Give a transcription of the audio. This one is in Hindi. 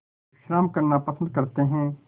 विश्राम करना पसंद करते हैं